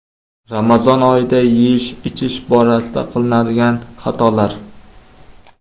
Ramazon oyida yeyish-ichish borasida qilinadigan xatolar.